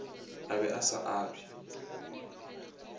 a be a sa abje